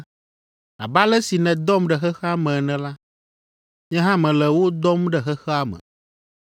Abe ale si nèdɔm ɖe xexea me ene la, nye hã mele wo dɔm ɖe xexea me.